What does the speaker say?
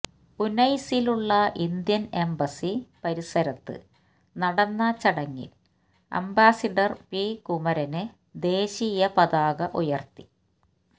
ഉനൈസയിലുള്ള Indian embassy പരിസരത്ത് നടന്ന ചടങ്ങില് അംബാസഡര് പി കുമരന് ദേശീയ പതാക ഉയര്ത്തി